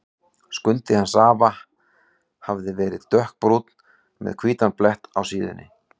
Skundi hans afa hafði verið dökkbrúnn með hvítan blett á síðunni.